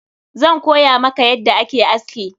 Zan koya maka yadda ake aski.